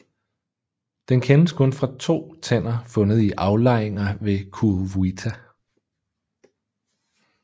Den kendes kun fra to tænder fundet i aflejringer ved Kuruwita